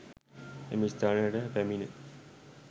එම ස්ථානයට පැමිණි